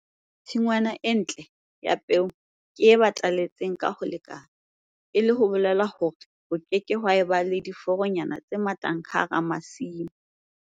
Tshingwana e ntle ya peo ke e bataletseng ka ho lekana, e leng ho bolelang hore ho ke ke haeba le diforonyana tse mathang hara masimo.